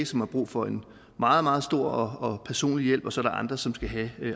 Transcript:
som har brug for en meget meget stor og personlig hjælp og så er der andre som skal have